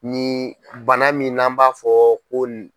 Ni bana min n'an b'a fɔ ko.